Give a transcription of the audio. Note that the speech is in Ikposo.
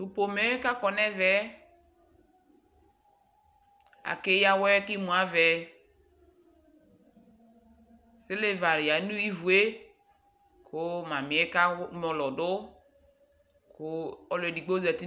To pomɛ kakɔ nɛvɛ ake yia awɛ ke imu avɛ Siliva yia no ivue ko mamiɛ kao mɔlɔ do ko aluɛ digbo zati